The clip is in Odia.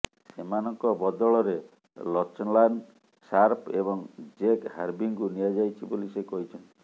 ସେମାନଙ୍କ ବଦଳରେ ଲଚଲାନ୍ ସାର୍ପ ଏବଂ ଜେକ୍ ହାର୍ଭିଙ୍କୁ ନିଆଯାଇଛି ବୋଲି ସେ କହିଥିଲେ